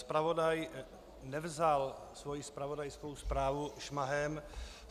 Zpravodaj nevzal svoji zpravodajskou zprávu šmahem.